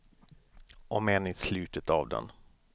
Om än i slutet av den.